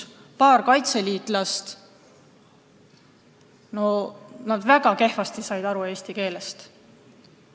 Paar kaitseliitlast said väga kehvasti eesti keelest aru.